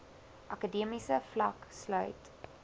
akademiese vlak sluit